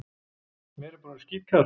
Mér er bara orðið skítkalt.